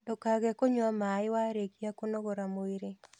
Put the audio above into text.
Ndũkage kũnyua maĩi warĩkia kũnogora mwĩrĩ